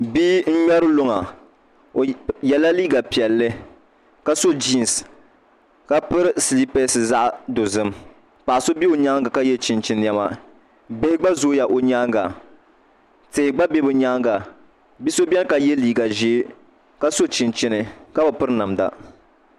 Bia n ŋmɛri luŋa o yɛla liiga piɛli ka so jiins ka piri silipɛs zaɣ dozim paɣa so bɛ o nyaangi ka yɛ chinchin niɛma bihi gba zooya o nyaanga tihi gba bɛ bi nyaanga bia so biɛni ka yɛ liigq ʒiɛ ka so chinchini ka bi piri namda